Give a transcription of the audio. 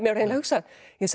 hugsað